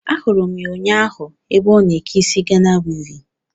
Ahụrụ m ya ụnyaahụ ébé ọ na eke isi Gana wivin